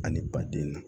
Ani baden na